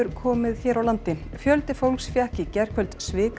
komið hér á landi fjöldi fólks fékk í gærkvöld